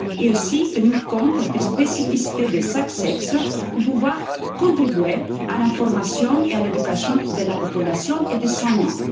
Il faut aussi tenir compte des spécificités de chaque sexe pour pouvoir contribuer à l'information et à l'éducation de la population et des soignants.